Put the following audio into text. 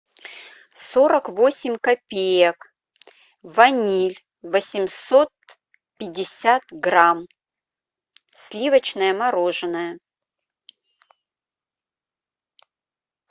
сорок восемь копеек ваниль восемьсот пятьдесят грамм сливочное мороженое